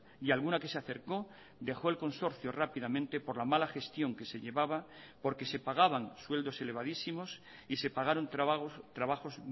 y alguna que se acercó dejó el consorcio rápidamente por la mala gestión que se llevaba porque se pagaban sueldos elevadísimos y se pagaron trabajos